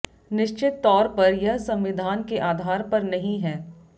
निश्चित तौर पर यह संविधान के आधार पर नहीं है